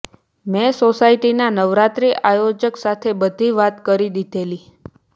મેં સોસાયટીના નવરાત્રિ આયોજક સાથે બધી વાત કરી દીધેલી